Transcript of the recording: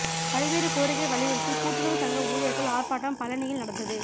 பல்வேறு கோரிக்கை வலியுறுத்தி கூட்டுறவு சங்க ஊழியர்கள் ஆர்ப்பாட்டம் பழநியில் நடந்தது